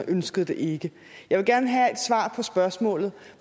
ønskede det ikke jeg vil gerne have et svar på spørgsmålet